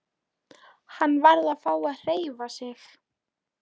Hann varð að fá að hreyfa sig.